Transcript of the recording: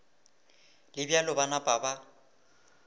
le bjalo ba napa ba